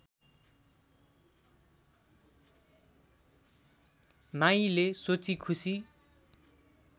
माईले सोची खुसी